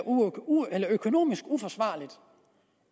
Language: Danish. økonomisk uforsvarligt